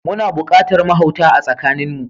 Muna buƙatar mahauta a tsakanin mu.